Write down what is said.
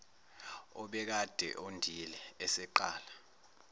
obekade ondile eseqala